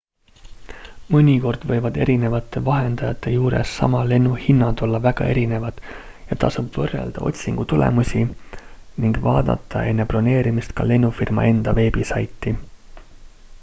mõnikord võivad erinevate vahendajate juures sama lennu hinnad olla väga erinevad ja tasub võrrelda otsingutulemusi ning vaadata enne broneerimist ka lennufirma enda veebisaiti